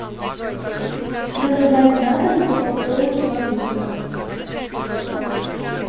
заказать на дом кока колу два литра